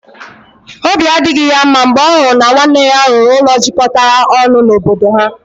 Obi adịghị ya mma mgbe ọ hụrụ na nwanne ya rụrụ ụlọ jikọtara ọnụ n'obodo ha.